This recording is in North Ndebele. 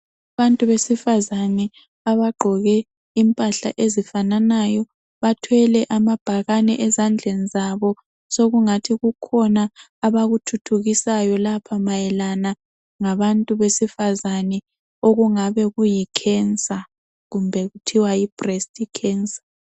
Abantu besifana abagqoke izigqoko ezifananayo bathwele amabhakani ezandleni zabo sokungathi khona abakuthuthukisayo lapha mayelana ngabantu besifazana okungabe kuyicancer kumbe kuthiwa yibreast cancer